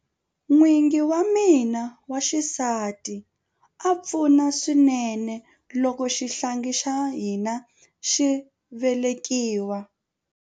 N'wingi wa mina wa xisati a pfuna swinene loko xihlangi xa hina xi velekiwa.